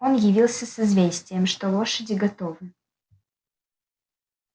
он явился с известием что лошади готовы